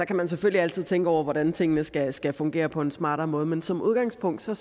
kan selvfølgelig altid tænke over hvordan tingene skal skal fungere på en smartere måde men som udgangspunkt ser